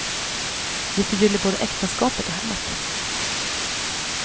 Det förgyller både äktenskapet och hemmet.